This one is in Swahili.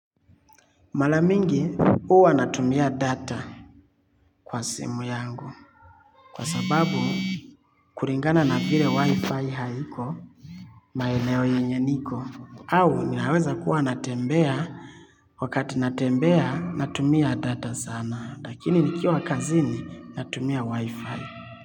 Mara mingi huwa natumia data kwa simu yangu kwa sababu kuringana na vile wifi haiko maeneo yenye niko au ni haweza kuwa natembea wakati natembea natumia data sana lakini nikiwa kazini natumia wifi.